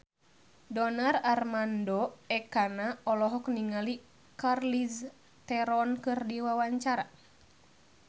Donar Armando Ekana olohok ningali Charlize Theron keur diwawancara